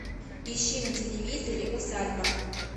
ищи на телевизоре усадьба